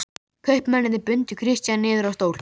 Kaupmennirnir bundu Christian niður á stól.